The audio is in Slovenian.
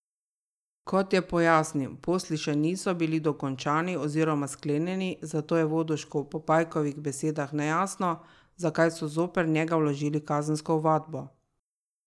Kot je pojasnil, posli še niso bili dokončani oziroma sklenjeni, zato je Vodušku po Pajkovih besedah nejasno, zakaj so zoper njega vložili kazensko ovadbo.